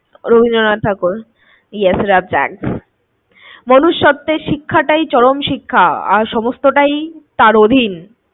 রবীন্দ্রনাথ ঠাকুর। মনুষত্বের শিক্ষাটাই চরম শিক্ষা আর সমস্তটাই তার অধীন।